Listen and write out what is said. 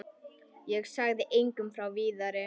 Ég sagði engum frá Viðari.